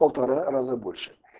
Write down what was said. полтора раза больше